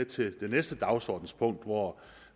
til det næste dagsordenspunkt hvor